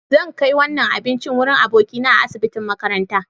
Zan kai wannan abincin wurin abokina a asibitin makaranta.